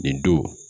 Nin don